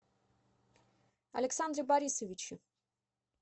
александре борисовиче